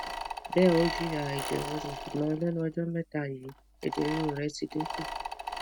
be o jiya eje ruru sugbon lenu ọjọ́meta yi eje ruru re ti din ku